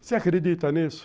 Você acredita nisso?